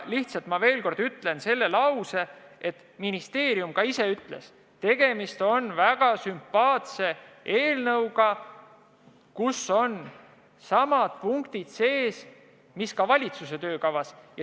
Lihtsalt veel kord kordan, et ministeerium ka ütles: tegemist on väga sümpaatse eelnõuga, kus on samad punktid sees, mis ka valitsuse töökavas.